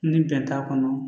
Ni bɛn t'a kɔnɔ